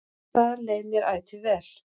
Þar leið mér ætíð vel.